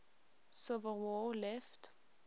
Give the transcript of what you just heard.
civil war left